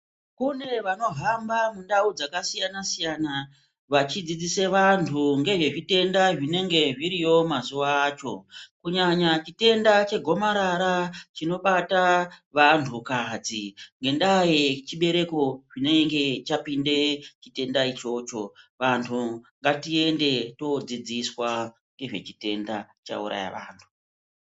Kune vanohamba mundau dzakasiyana -siyana vachidzidzise vantu ngezvezvitenda zvinenge zviriyo mazuwa acho. Kunyanya chitenda chegomarara chinobata vantukadzi ngendaa yechibereko chinenge chapinda chitenda ichocho. Vantu ngatiende todzidziswa ngezvechitenda chauraya vantu.